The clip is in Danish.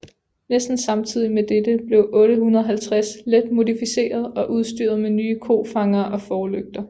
Næsten samtidig med dette blev 850 let modificeret og udstyret med nye kofangere og forlygter